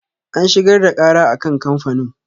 An shigar da ƙara a kan kamfanin.